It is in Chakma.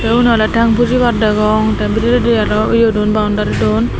te unnore teng pujibar degong te bediredi aaro yedon boundry don.